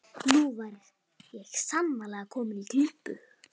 Nú var ég sannarlega kominn í klípu!